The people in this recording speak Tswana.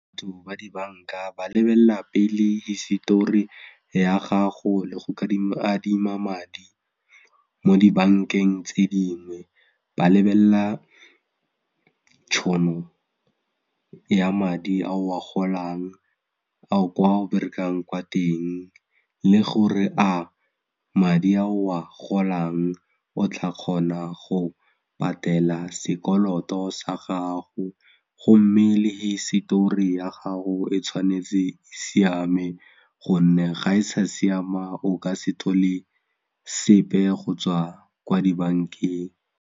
Batho ba dibanka ba lebella pele hisetori ya gago le go adima madi mo dibankeng tse dingwe, ba lebella tšhono ya madi a o a golang a kwa o berekang kwa teng le gore a madi a o a golang o tla kgona go patela sekoloto sa gago gomme le hisetori ya gago e tshwanetse e siama gonne ga e sa siama o ka se thole sepe go tswa kwa dibankeng.